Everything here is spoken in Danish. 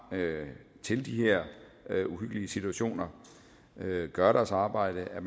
til de her uhyggelige situationer gøre deres arbejde at